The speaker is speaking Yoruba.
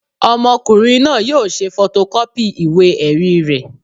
Ọmọkùnrin náà yóò ṣe fọtọkọ́pì ìwé-ẹ̀rí rẹ̀